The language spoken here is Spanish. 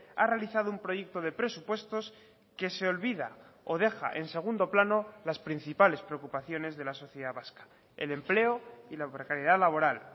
ha realizado un proyecto de presupuestos que se olvida o deja en segundo plano las principales preocupaciones de la sociedad vasca el empleo y la precariedad laboral